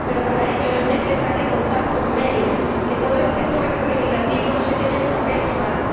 Pero para ello es necesario contar con medios, que todo este esfuerzo legislativo no se quede en papel mojado.